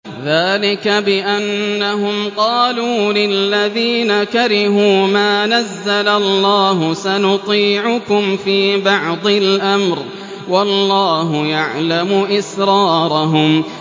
ذَٰلِكَ بِأَنَّهُمْ قَالُوا لِلَّذِينَ كَرِهُوا مَا نَزَّلَ اللَّهُ سَنُطِيعُكُمْ فِي بَعْضِ الْأَمْرِ ۖ وَاللَّهُ يَعْلَمُ إِسْرَارَهُمْ